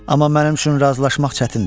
Amma mənim üçün razılaşmaq çətindir.